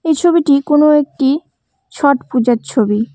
এই ছবিটি কোনো একটি ছট পূজার ছবি।